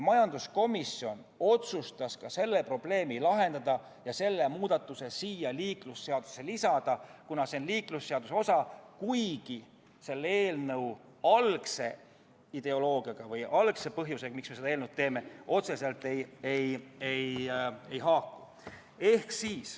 Majanduskomisjon otsustas ka selle probleemi lahendada ja selle muudatuse siia eelnõusse lisada, kuna see valdkond on liiklusseaduse osa, kuigi ta selle eelnõu algse ideoloogia või algse põhjusega, miks me selle eelnõu tegime, otseselt ei haaku.